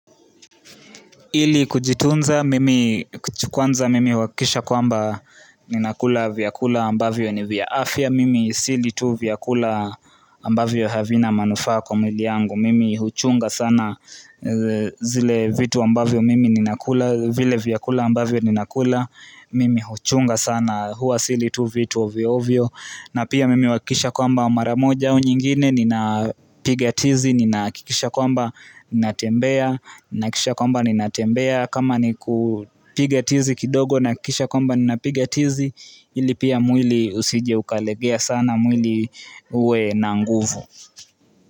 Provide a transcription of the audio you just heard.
Ili kujitunza, mimi kuchua kwanza mimi huhakisha kwamba ninakula vyakula ambavyo ni viya afya, mimi sili vyakula ambavyo havina manufaa kwa mwili yangu, mimi huchunga sana zile vitu ambavyo mimi ninakula, vile vyakula ambavyo ninakula, mimi huchunga sana hua sili tu vitu ovyo ovyo. Na pia mimi huhakisha kwamba mara moja au nyingine nina piga tizi nina kikisha kwamba natembea nina kisha kwamba natembea kama nikupigatizi kidogo nakikisha kwamba nina pigatizi ili pia mwili usije ukalegea sana mwili uwe na nguvu.